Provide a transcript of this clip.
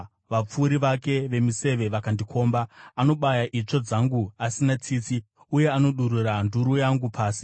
vapfuri vake vemiseve vakandikomba. Anobaya itsvo dzangu asina tsitsi, uye anodururira nduru yangu pasi.